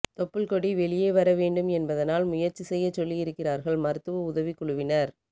தொப்புள் கொடி வெளியே வர வேண்டும் என்பதால் முயற்சி செய்யச் சொல்லியிருக்கிறார்கள் மருத்துவ உதவி குழுவினர்